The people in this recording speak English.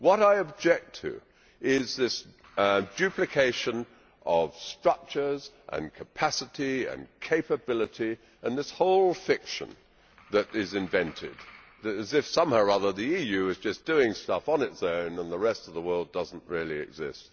What I object to is this duplication of structures and capacity and capability, and this whole fiction that is invented as if somehow or other the EU is just doing stuff on its own and the rest of the world does not exist.